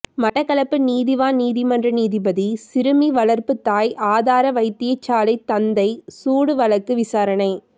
மட்டக்களப்பு நீதிவான் நீதிமன்ற நீதிபதி சிறுமி வளர்ப்புத் தாய் ஆதார வைத்தியசாலை தந்தை சூடு வழக்கு விசாரணை